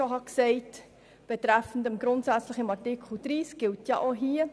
Was das Wort «grundsätzlich» in Artikel 30 anbelangt, gilt auch hier.